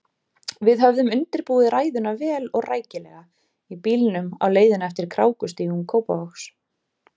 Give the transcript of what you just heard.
Við höfðum undirbúið ræðuna vel og rækilega í bílnum á leiðinni eftir krákustígum Kópavogs.